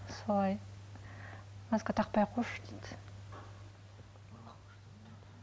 солай маска тақпай ақ қойшы дейді